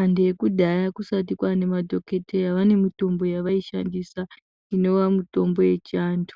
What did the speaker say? Antu ekudhaya kusati kwaane madhokoteya vane mitombo yavaishandisa inova mitombo yechiantu.